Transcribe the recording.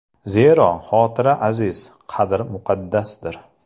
Zero, xotira aziz, qadr muqaddasdir!